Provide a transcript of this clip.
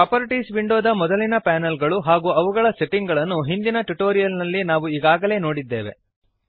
properties ವಿಂಡೋದ ಮೊದಲಿನ panel ಗಳು ಹಾಗೂ ಅವುಗಳ ಸೆಟ್ಟಿಂಗ್ ಗಳನ್ನು ಹಿಂದಿನ ಟ್ಯುಟೋರಿಯಲ್ ನಲ್ಲಿ ನಾವು ಈಗಾಗಲೇ ನೋಡಿದ್ದೇವೆ